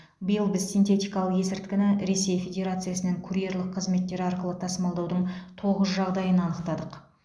биыл біз синтетикалық есірткіні ресей федерациясынан курьерлік қызметтер арқылы тасымалдаудың тоғыз жағдайын анықтадық